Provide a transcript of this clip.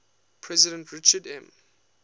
president richard m